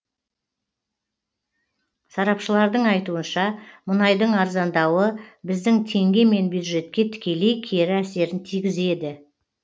сарапшылардың айтуынша мұнайдың арзандауы біздің теңге мен бюджетке тікелей кері әсерін тигізеді